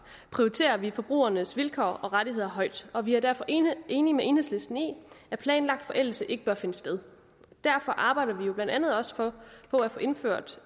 prioriterer vi forbrugernes vilkår og rettigheder højt og vi er derfor enige enige med enhedslisten i at planlagt forældelse ikke bør finde sted derfor arbejder vi blandt andet også på at få indført